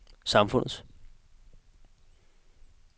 samfundets